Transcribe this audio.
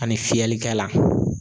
Ani fiyɛlikɛlan.